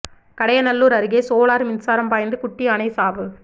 கடையநல்லூர் அருகே சோலார் மின்சாரம் பாய்ந்து குட்டி யானை சாவு